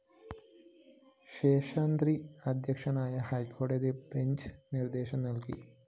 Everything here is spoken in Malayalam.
ശേഷാദ്രി അധ്യക്ഷനായ ഹൈക്കോടതി ബഞ്ച് നിര്‍ദേശം നല്കി